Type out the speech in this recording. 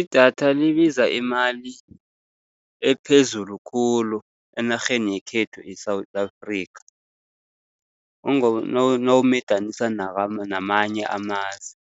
Idatha libiza imali ephezulu khulu enarheni yekhethu e-South Africa, nawumedanisa namanye amazwe.